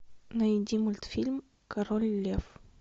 найди мультфильм король лев